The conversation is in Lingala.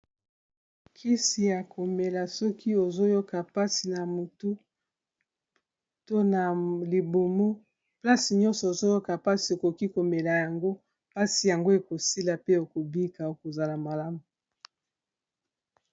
Kisi ya komela soki ozoyoka mpasi na motu to na libumu place nyonso ozoyoka pasi okoki komela yango mpasi yango ekosila pe oko bika okozala malamu.